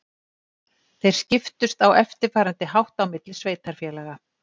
Þeir skiptust á eftirfarandi hátt á milli sveitarfélaga: